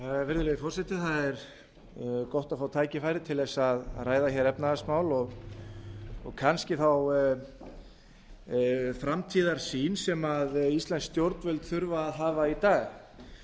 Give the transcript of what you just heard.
virðulegi forseti það er gott að fá tækifæri til að ræða efnahagsmál og kannski þá framtíðarsýn sem íslensk stjórnvöld þurfa að hafa í dag